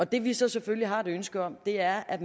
det vi så selvfølgelig har et ønske om er at